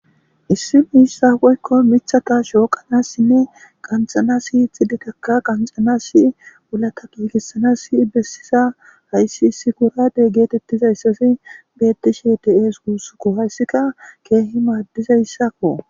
issi miissa woykko michata shooqanassinne qanxanasi ixidetaka qanxanasi wulata giigisanasi bessisa hayssi issi kurade geetettizayssasi beettishi te7ees guussuku hayssika keehi maaddizayssakko